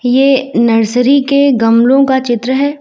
ये नर्सरी के गमलो का चित्र है।